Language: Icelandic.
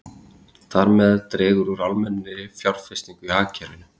Þar með dregur úr almennri fjárfestingu í hagkerfinu.